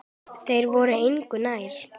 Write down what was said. Þeir voru engu nær.